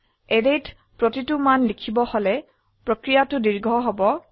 অ্যাৰেত প্ৰতিটি মান লিখিব হলে প্ৰক্ৰিয়াটি দীৰ্ঘ হব